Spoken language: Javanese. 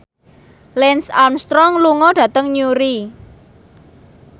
Lance Armstrong lunga dhateng Newry